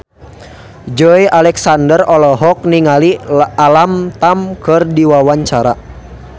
Joey Alexander olohok ningali Alam Tam keur diwawancara